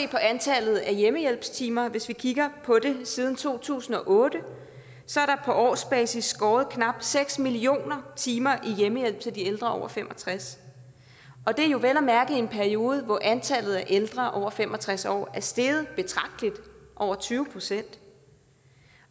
på antallet af hjemmehjælpstimer hvis vi kigger på det vil siden to tusind og otte på årsbasis er skåret knap seks millioner timer i hjemmehjælp til de ældre over fem og tres år og det er jo vel at mærke i en periode hvor antallet af ældre over fem og tres år er steget betragteligt over tyve procent